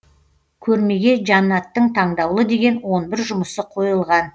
көрмеге жанаттың таңдаулы деген он бір жұмысы қойылған